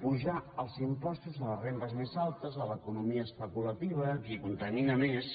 apujar els impostos a les rendes més altes a l’economia especulativa a qui contami na més